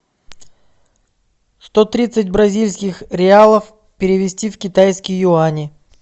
сто тридцать бразильских реалов перевести в китайские юани